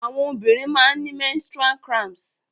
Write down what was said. Àwọn obìnrin máa ń ni menstrual cramps.